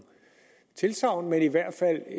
tilsagn men i hvert fald